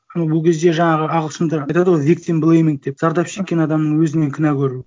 бұл кезде жаңағы ағылшындар айтады ғой виктимблейминг деп зардап шеккен адамның өзінен күнә көру